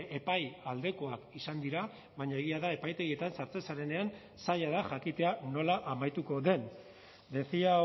epai aldekoak izan dira baina egia da epaitegietan sartzen zarenean zaila da jakitea nola amaituko den decía